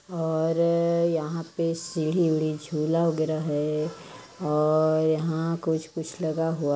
और यहाँ पे सीढ़ी उढ़ी झूला वगैरा है और यहाँ कुछ कुछ लगा हुआ--